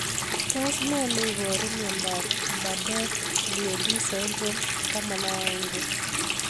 Tos nee neiparu miondop Bardet Biedl syndrome 11?